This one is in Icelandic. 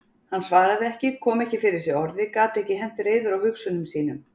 Hann svaraði ekki, kom ekki fyrir sig orði, gat ekki hent reiður á hugsunum sínum.